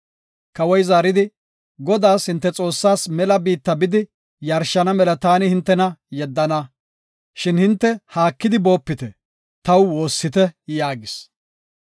Kawoy zaaridi, “Godaas, hinte Xoossaas mela biitta bidi yarshana mela taani hintena yeddana. Shin hinte haakidi boopite; taw woossite” yaagis.